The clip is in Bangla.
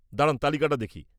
দাঁড়ান তালিকাটা দেখি।